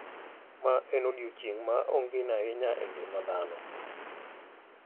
Mae en odiechieng` ma ongino ahinya e ngima dhano.